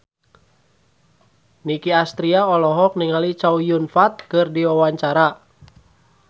Nicky Astria olohok ningali Chow Yun Fat keur diwawancara